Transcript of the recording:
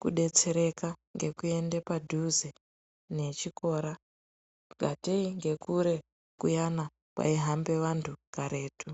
kudetseraka ngekuende padhuze nechikora, ngatei ngekure kuyana kwaihambe vantu karetu.